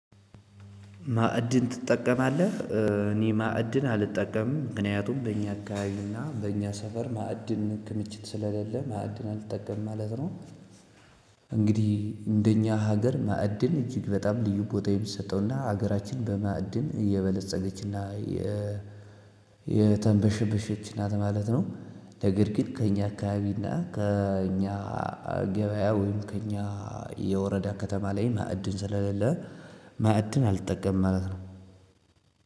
ማዕድን ትጠቀማለህ? እኔ ማዕድን አልጠቀምም ምክንያቱም በእኛ አካባቤ እና በእኛ ሰፈር ማዕድን ክምችት ስለሌለ ማዕድን አልጠቀም ማለት ነው። እንግዲህ እንደኛ ሀገር ማዕድን እጅግ በጣም ልዩ ቦታ የሚሰጠውና ሀገራችን በማዕድን እየበለፀገችና የ የተንበሸበሸች ናት ማለት ነው። ነገር ግን ከእኛ አካባቢ እና ከእኛ ገበያ ወይም ከእኛ የወረዳ ከተማ ላይ ማዕድን ስለሌለ ማዕድን አልጠቀምም ማለት ነው።